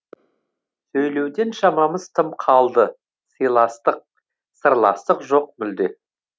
сөйлеуден шамамыз тым қалды силастық сырластық жоқ мүлде